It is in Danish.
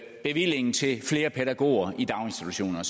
bevillingen til flere pædagoger i daginstitutioner